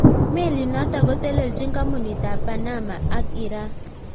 Melit notok kotelelchin kampunit ab Panama ak Iran